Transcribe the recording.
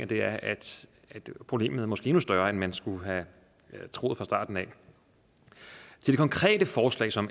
det er at problemet måske er endnu større end man skulle have troet fra starten i det konkrete forslag som